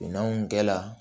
Minɛnw kɛla